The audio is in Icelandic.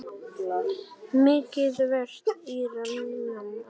Mikið varstu rík amma.